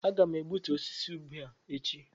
Aga m egbutu osisi ube a echi